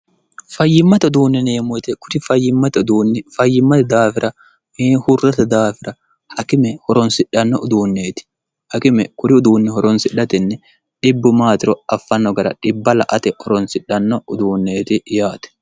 fayyimmate uduunnineemmoyite kuri fayyimmate uduunni fayyimmate daafira mee hurrate daafira hakime horonsidhanno uduunneeti hakime kuri uduunni horonsidhatinni dhibbu maatiro affanno gara dhibba la ate horonsidhanno uduunneeti yaate